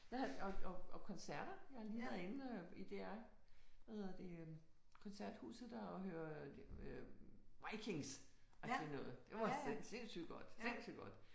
Jeg har og og koncerter. Jeg har lige været inde i DR hvad hedder det koncerthuset og hørt øh Vikings og det er noget det var sindsigt godt sindsygt godt